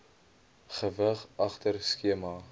gewig agter skema